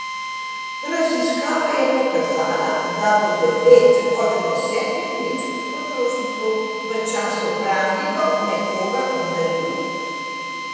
Raziskava je pokazala, da bo devet od desetih nemških potrošnikov v času praznikov nekoga obdarilo.